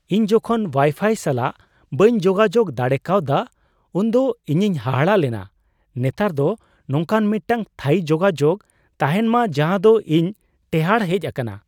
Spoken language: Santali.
ᱤᱧ ᱡᱚᱠᱷᱚᱱ ᱳᱣᱟᱭᱼᱯᱷᱟᱭ ᱥᱟᱞᱟᱜ ᱵᱟᱹᱧ ᱡᱳᱜᱟᱡᱳᱠ ᱫᱟᱲᱮ ᱠᱟᱣᱫᱟ ᱩᱱᱫᱚ ᱤᱧᱤᱧ ᱦᱟᱦᱟᱲᱟᱜ ᱞᱮᱱᱟ ᱾ᱱᱮᱛᱟᱨ ᱫᱚ ᱱᱚᱝᱠᱟᱱ ᱢᱤᱫᱴᱟᱝ ᱛᱷᱟᱹᱭᱤ ᱡᱳᱜᱟᱡᱳᱜ ᱛᱟᱦᱮᱱ ᱢᱟ ᱡᱟᱦᱟᱸ ᱫᱚ ᱤᱧ ᱴᱮᱦᱟᱸᱴ ᱦᱮᱡ ᱟᱠᱟᱱᱟ ᱾